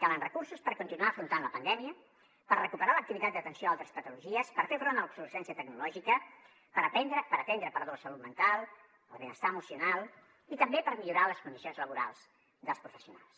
calen recursos per continuar afrontant la pandèmia per recuperar l’activitat d’atenció a altres patologies per fer front a l’obsolescència tecnològica per atendre la salut mental el benestar emocional i també per millorar les condicions laborals dels professionals